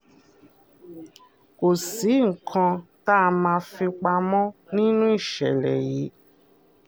kò sí nǹkan tá a máa fi pamọ nínú nínú ìṣẹ̀lẹ̀ yìí